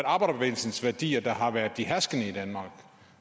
arbejderbevægelsens værdier der har været de herskende i danmark